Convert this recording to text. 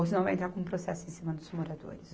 Ou senão vai entrar com um processo em cima dos moradores.